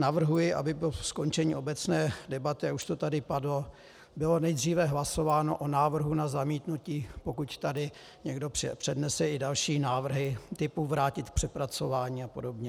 Navrhuji, aby po skončení obecné debaty, a už to tady padlo, bylo nejdříve hlasováno o návrhu na zamítnutí, pokud tady někdo přednese i další návrhy typu vrátit k přepracování a podobně.